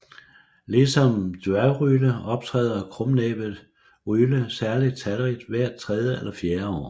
Ligesom dværgryle optræder krumnæbbet ryle særligt talrigt hvert tredje eller fjerde år